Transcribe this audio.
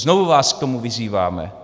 Znovu vás k tomu vyzýváme.